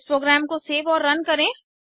अब इस प्रोग्राम को सेव और रन करें